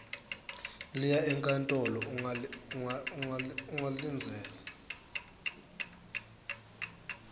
liya enkantolo ungalindzela